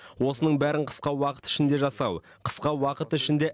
осының бәрін қысқа уақыт ішінде жасау қысқа уақыт ішінде